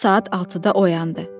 O, saat 6-da oyandı.